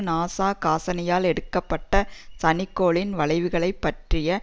NASA காசினியால் எடுக்க பட்ட சனிக்கோளின் வளைவுகளைப் பற்றிய